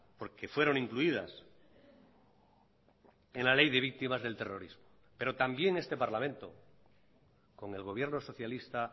porque fueron incluidas en la ley de víctimas del terrorismo pero también este parlamento con el gobierno socialista